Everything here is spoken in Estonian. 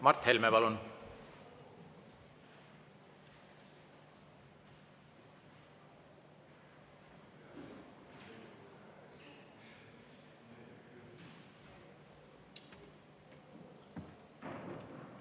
Mart Helme, palun!